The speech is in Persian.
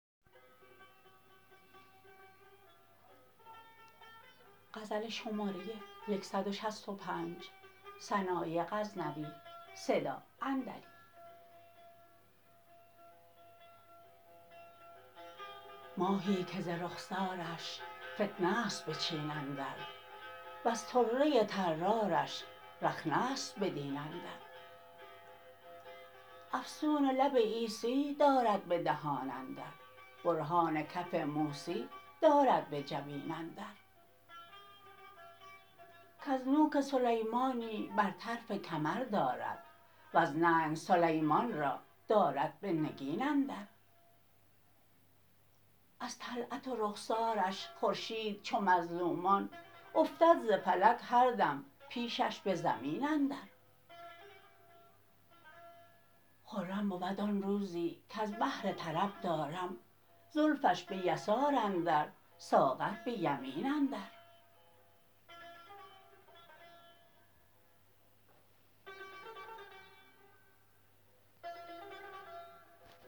ماهی که ز رخسارش فتنه ست به چین اندر وز طره طرارش رخنه ست به دین اندر افسون لب عیسی دارد به دهان اندر برهان کف موسی دارد به جبین اندر کز نوک سلیمانی بر طرف کمر دارد وز ننگ سلیمان را دارد به نگین اندر از طلعت و رخسارش خورشید چو مظلومان افتد ز فلک هر دم پیشش به زمین اندر خرم بود آن روزی کز بهر طرب دارم زلفش به یسار اندر ساغر به یمین اندر